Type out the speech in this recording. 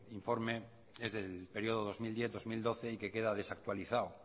informe es del periodo dos mil diez dos mil doce y que queda desactualizado